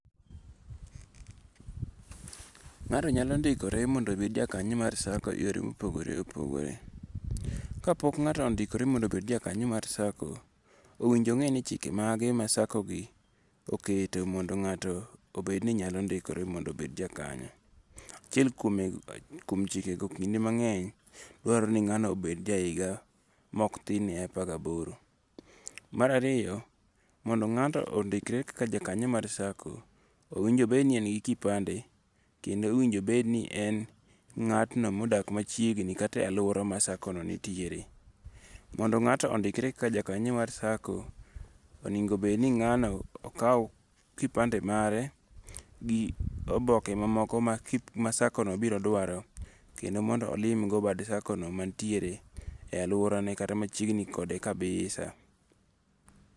Ng'ato nyalo ndikore mondo obed jakanyo mar SACCO e yore mopogore opogore. Kapok ng'ato ondikore mondo obed jakanyo mar SACCO, owinjo ong'e ni chike mage ma SACCO gi oketo mondo ng'ato obed ni nyalo ndikore mondo obed jakanyo. Achiel kuom chikego kinde mang'eny, dwarore ni ng'ano onego obed maok tin ne ja higa apar gaboro. Mar ariyo, mondo ng'abno ondikre kaka jakanyo mar SACCO, owinjo obed ni en gi kupande. Kendo owinjo obed ni en ng'ano modak machiegni kata e aluora ma SACCO no nitiere. Mondo ng'ato ondikre kaka ja kanyo mar SACCO, onego bed ni ng'ano okaw kipande mare gi oboke mamoko ma SACCO no biro dwaro kendo mondo olim go bad SACCO no mantiere e aluorane kata machiegni kode kabisa.